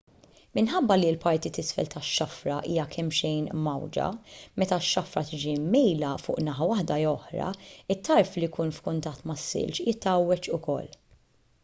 minħabba li l-parti t'isfel tax-xafra hija kemmxejn mgħawwġa meta x-xafra tiġi mmejla fuq naħa waħda jew oħra it-tarf li jkun f'kuntatt mas-silġ jitgħawweġ ukoll